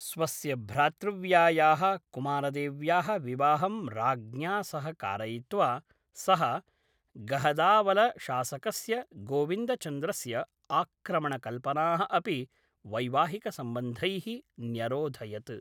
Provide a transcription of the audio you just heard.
स्वस्य भ्रातृव्यायाः कुमारदेव्याः विवाहं राज्ञा सह कारयित्वा सः गहदावलशासकस्य गोविन्दचन्द्रस्य आक्रमणकल्पनाः अपि वैवाहिकसम्बन्धैः न्यरोधयत्।